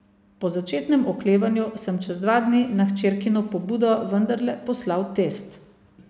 Po začetnem oklevanju sem čez dva dni na hčerkino pobudo vendarle poslal test.